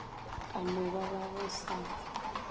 ka no ba go sa